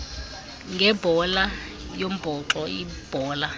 ngebhola yombhoxo ibhola